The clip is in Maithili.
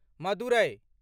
मदुरै